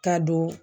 Ka don